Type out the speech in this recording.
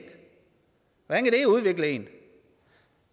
hvordan kan det udvikle en